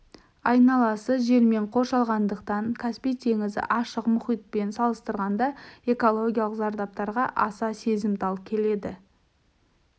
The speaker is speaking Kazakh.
айналасы жермен қоршалғандықтан каспий теңізі ашық мұхитпен салыстырғанда экологиялық зардаптарға аса сезімтал келеді